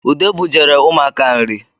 Ude bujere ụmụaka nri